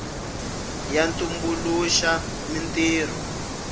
ya tumbuluxa mintirho